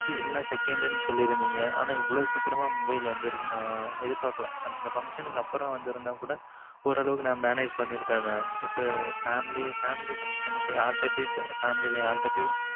second சொல்லிருத்தீங்க. ஆனா இவ்வளவு சீக்கிரம் mobile வந்திரிச்சி அந்த function அப்புறம் வந்து இருந்தா கூட ஒரு அளவுக்கு manage பண்ணி இருப்பன் mam இப்பம் family function இப்பம் family யாருட்டபோய்